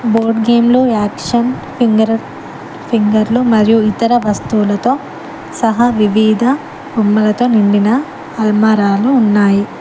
Boat game లో action finger ఫింగర్లు మరియు ఇతర వస్తువులతో సహా వివిధ బొమ్మలతో నిండిన అల్మరాలు ఉన్నాయి.